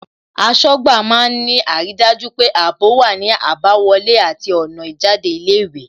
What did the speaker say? Aṣọ́gbà má ń ní àrídájú pé ààbò wá ní àbáwọlé àti ọ̀nà ìjáde ilé ìwé